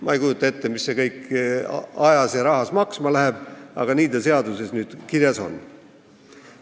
Ma ei kujuta ette, kui palju see kõik aega võtab ja maksma läheb, aga nii see seaduses nüüd kirjas on.